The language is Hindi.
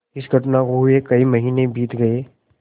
इस घटना को हुए कई महीने बीत गये